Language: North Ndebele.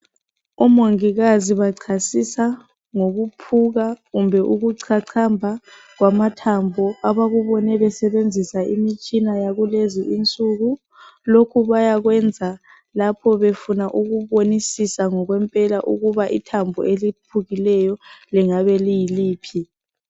Omongikazi bachasisa ngokuphuka kumbe ukuchachamba kwamathambo .Abakubone besebenzisa imitshina yakulezinsuku. Lokhu bayakwenza lapho befuna ukubonisisa ngokwempela ukuba ithambo eliphukileyo lingabe liyiliphi.